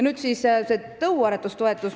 Nüüd siis sellest tõuaretustoetusest.